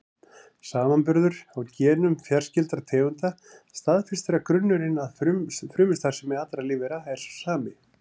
Samanburður á genum fjarskyldra tegunda staðfestir að grunnurinn að frumustarfsemi allra lífvera er sá sami.